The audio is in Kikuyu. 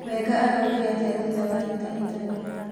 Wenga araugire atĩa thutha wa hĩtahĩtano?